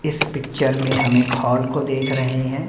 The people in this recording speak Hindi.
इस पिक्चर में हम एक हॉल को देख रहे हैं।